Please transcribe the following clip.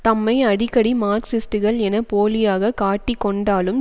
தம்மை அடிக்கடி மார்க்சிஸ்டுகள் என போலியாக காட்டிக்கொண்டாலும்